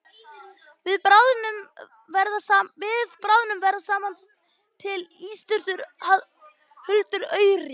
Við bráðnun verða þar smám saman til ísstrýtur huldar auri.